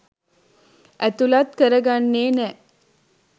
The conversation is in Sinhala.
ඇතුලත් කරගන්නේ නෑ.